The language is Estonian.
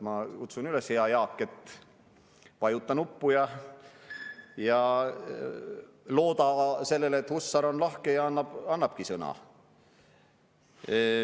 Ma kutsun üles, hea Jaak, vajuta nuppu ja looda sellele, et Hussar on lahke ja annabki sõna.